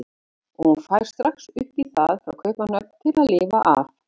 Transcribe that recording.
Og hún fær strax upp í það frá Kaupmannahöfn til að lifa af.